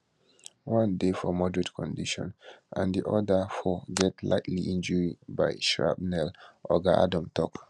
one dey for moderate condition and di oda four get lightly injury by shrapnel oga adom tok